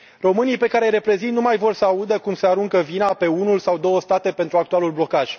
Românii pe care îi reprezint nu mai vor sa audă cum se aruncă vina pe unul sau două state pentru actualul blocaj.